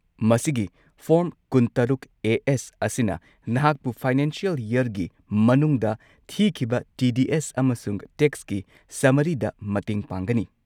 ꯃꯁꯤꯒꯤ ꯐꯣꯔꯝ ꯲꯶ꯑꯦ. ꯑꯦꯁ. ꯑꯁꯤꯅ ꯅꯍꯥꯛꯄꯨ ꯐꯥꯏꯅꯥꯟꯁꯤꯑꯦꯜ ꯌꯔꯒꯤ ꯃꯅꯨꯡꯗ ꯊꯤꯈꯤꯕ ꯇꯤ. ꯗꯤ. ꯑꯦꯁ. ꯑꯃꯁꯨꯡ ꯇꯦꯛꯁꯀꯤ ꯁꯝꯃꯔꯤꯗ ꯃꯇꯦꯡ ꯄꯥꯡꯒꯅꯤ꯫